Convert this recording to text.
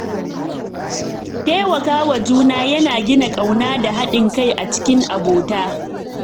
Taimakawa juna yana gina ƙauna da haɗin kai a cikin abota.